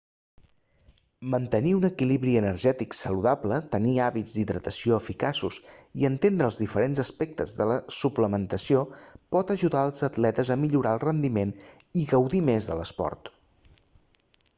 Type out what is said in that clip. mantenir un equilibri energètic saludable tenir hàbits d'hidratació eficaços i entendre els diferents aspectes de la suplementació pot ajudar els atletes a millorar el rendiment i a gaudir més de l'esport